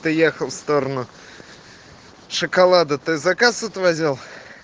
ты ехал в сторону шоколада ты заказ отвозил